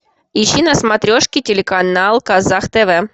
ищи на смотрешке телеканал казах тв